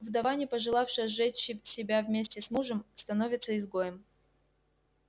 вдова не пожелавшая сжечь себя вместе с мужем становится изгоем